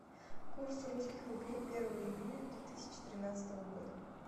курс русских рублей первого июня две тысячи тринадцатого года